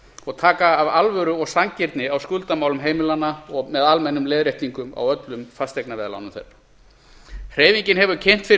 og taka af alvöru og sanngirni á skuldamálum heimilanna með almennum leiðréttingum á öllum fasteignaveðlánum þeirra hreyfingin hefur kynnt fyrir